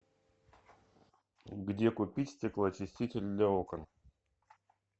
где купить стеклоочиститель для окон